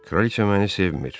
Kraliçe məni sevmir.